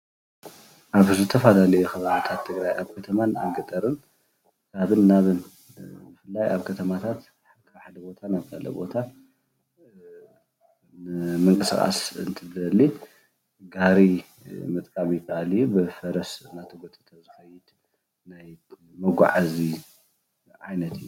ኣብ ዝተፈላለዩ ከባቢታት ትግራይ አብ ከተማን ገጠርን ካብን ናብን ብፍላይ ኣብ ከተማታት ካብ ሓደ ቦታ ናብ ካሊእ ቦታ ንምንቅስቃስ እንትትደሊ ጋሪ ምጥቃም ይካኣል እዩ፡፡ ብፈረስ እናተጎተተ ዝከድ ናይ መጓዓዚ ዓይነት እዩ፡፡